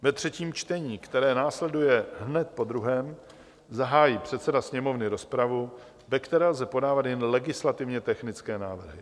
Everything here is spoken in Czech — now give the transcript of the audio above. Ve třetím čtení, které následuje hned po druhém, zahájí předseda Sněmovny rozpravu, ve které lze podávat jen legislativně technické návrhy.